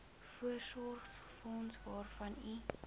voorsorgsfonds waarvan u